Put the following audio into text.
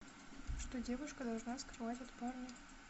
что девушка должна скрывать от парня